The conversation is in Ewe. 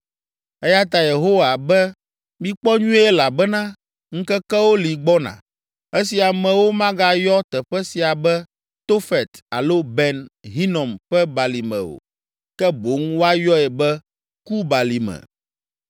Eya ta Yehowa be mikpɔ nyuie elabena ŋkekewo li gbɔna, esi amewo magayɔ teƒe sia be Tofet alo Ben Hinom ƒe Balime o, ke boŋ woayɔe be Kubalime.